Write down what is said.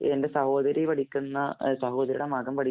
എന്‍റെ സഹോദരി പഠിക്കുന്ന സഹോദരിയുടെ മകന്‍ പഠി